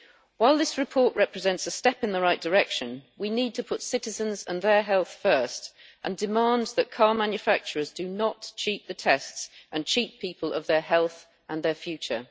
While this report represents a step in the right direction, we need to put citizens and their health first and demand that car manufacturers do not cheat the tests and cheat people of their health and their future.